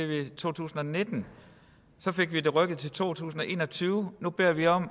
vi to tusind og nitten så fik vi det rykket til to tusind og en og tyve og nu beder vi om